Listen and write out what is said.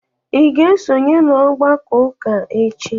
Ị ga-esonye n'ọgbakọ ụka echi?